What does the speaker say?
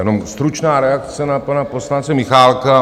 Jenom stručná reakce na pana poslance Michálka.